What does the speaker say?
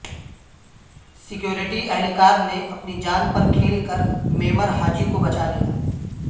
security اہلکار نے اپنی جان پرکھیل کر معمر حاجی کو بچا لیا